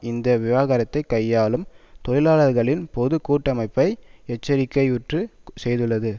இந்த விவகாரத்தைக் கையாளும் தொழிலாளர்களின் பொது கூட்டமைப்பு ஐ எச்சரிக்கையுற்று செய்துள்ளது